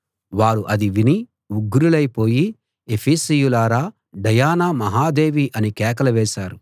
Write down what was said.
వారు అది విని ఉగ్రులైపోయి ఎఫెసీయుల డయానా మహాదేవి అని కేకలు వేశారు